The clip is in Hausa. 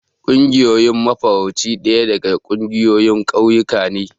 Ƙungiyar mafarauci daya daga ƙungiyoyin ƙauyuka ne.